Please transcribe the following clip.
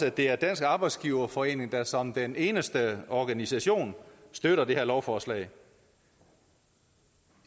at det er dansk arbejdsgiverforening der som den eneste organisation støtter det her lovforslag